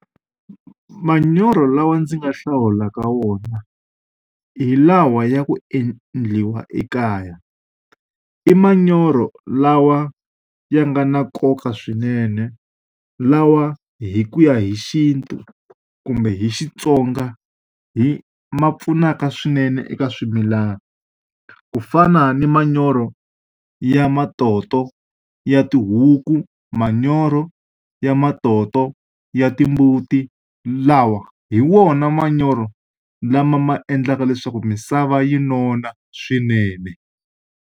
Manyoro lawa ndzi nga hlawula ka wona, hi lawa ya ku endliwa ekaya. I manyoro lawa ya nga na nkoka swinene, lawa hi ku ya hi xintu kumbe hi Xitsonga hi ma pfunaka swinene eka swimilana. Ku fana ni manyoro ya matoto ya tihuku, manyoro ya matoto ya timbuti, lawa hi wona manyoro lama ma endlaka leswaku misava yi nona swinene.